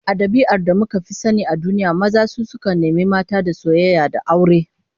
A dabi'ar da aka fi sani a duniya, maza su sukan nemi mata da soyayya da aure